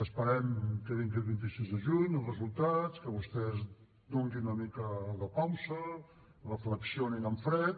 esperem que vingui el vint sis de juny els resultats que vostès donin una mica de pausa reflexionin en fred